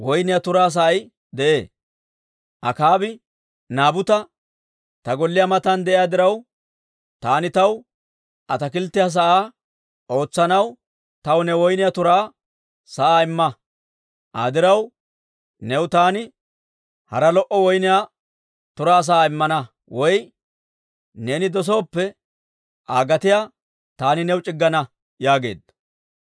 Akaabi Naabuta, «Ta golliyaa matan de'iyaa diraw, taani taw ataakilttiyaa sa'aa ootsanaw taw ne woyniyaa turaa sa'aa imma. Aa diraw new taani hara lo"o woyniyaa turaa sa'aa immana; woy neeni dosooppe, Aa gatiyaa taani new c'iggana» yaageedda.